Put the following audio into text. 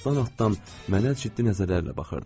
Atdan-atdan mənə ciddi nəzərlərlə baxırdı.